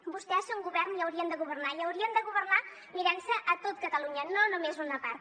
vostès són govern i haurien de governar i haurien de governar mirant se tot catalunya no només una part